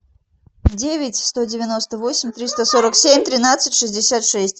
девять сто девяносто восемь триста сорок семь тринадцать шестьдесят шесть